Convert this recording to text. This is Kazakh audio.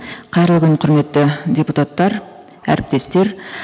қайырлы күн құрметті депутаттар әріптестер